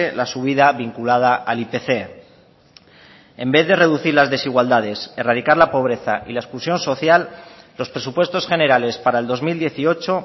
la subida vinculada al ipc en vez de reducir las desigualdades erradicar la pobreza y la exclusión social los presupuestos generales para el dos mil dieciocho